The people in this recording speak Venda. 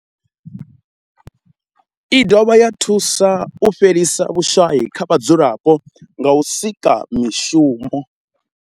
I dovha ya thusa u fhelisa vhushayi kha vhadzulapo nga u sika mishumo.